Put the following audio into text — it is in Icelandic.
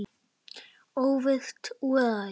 Óvirkt úrræði?